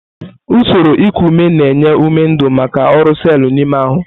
Usoro iku ume na-enye ume ndu maka ọrụ selu n'ime ahụ.